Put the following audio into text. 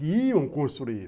E iam construir.